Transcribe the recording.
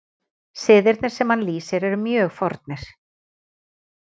Siðirnir sem hann lýsir eru mjög fornir.